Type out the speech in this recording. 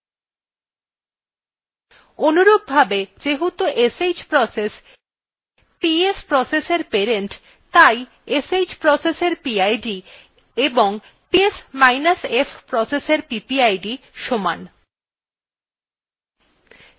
অনুরূপভাবে যেহেতু sh process ps process এর parent তাই sh processএর pid of psf processএর ppid সমান